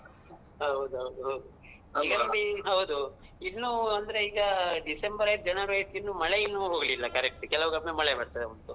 ಹೌದ್ ಹೌದ್ ಹೌದು. ಇನ್ನು ಅಂದ್ರೆ ಈಗ ಡಿಸೆಂಬರ್ ಆಯ್ತ್ January ಆಯ್ತ್ ಇನ್ನು ಮಳೆ ಇನ್ನು ಹೋಗಲಿಲ್ಲ correct ಆಗಿ ಕೆಲವಾಗ ಒಮ್ಮೆ ಮಳೆ ಬರ್ತಾ ಉಂಟು.